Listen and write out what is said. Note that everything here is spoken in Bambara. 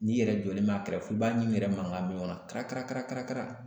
N'i yɛrɛ jɔlen ma kɛrɛfɛ i b'a ɲin yɛrɛ mankan mɛn ɲɔgɔn na karakarakara